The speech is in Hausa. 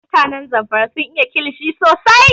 Mutanen Zamfara sun iya kilishi sosai